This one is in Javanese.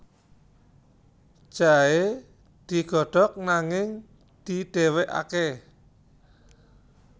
Jahe digodhog nanging didhéwékaké